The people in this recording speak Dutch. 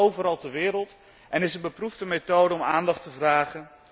Dat gebeurt overal ter wereld en is een beproefde methode om aandacht te vragen.